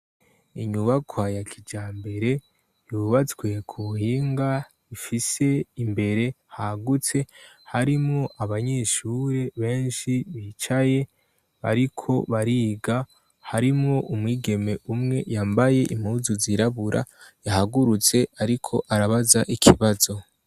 Inyubakwa ya kijambere yubatswe kubuhinga ifise imbere hagutse harimwo abanyeshure benshi bicaye bariko bariga, harimwo umwigeme umwe yambaye impuzu zirabura yahagurutse ariko arabaza ikibazo.